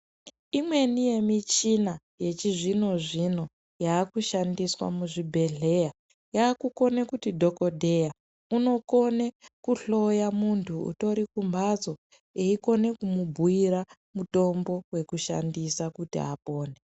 Imweni yemichina yechizvinozvino yekushandiswa muzvibhehleya yakukone kuti dhokodheya unokone kuhloya muntu utori kumbatso eikone kumubhuira mutombo wekushsndisa kuti apone .